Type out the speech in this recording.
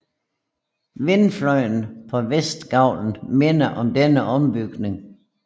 Vindfløjen på vestgavlen minder om denne ombygning